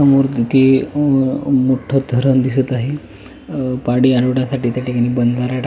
समोर इथे अम्म अ मोठ्ठ धरण दिसत आहे अ पाणी आडवण्यासाठी त्याठिकाणी बंदारा टा--